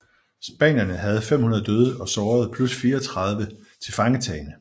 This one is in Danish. Spanierne havde 500 døde og sårede plus 34 tilfangetagne